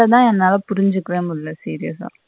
இத என்னால புரிஞ்சிக்கவே முடியல serious அ.